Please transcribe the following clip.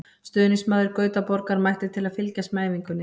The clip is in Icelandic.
Stuðningsmaður Gautaborgar mætti til að fylgjast með æfingunni.